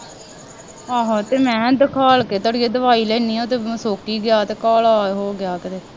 ਆਹੋ ਅਤੇ ਮੈਂ ਦਿਖਾਲ ਕੇ ਦਵਾਈ ਲੈਂਦੀ ਹਾਂ ਅਤੇ ਸੁੱਕ ਹੀ ਗਿਆ ਤੇ ਕਾਲਾ ਹੋ ਗਿਆ ਘਰੇ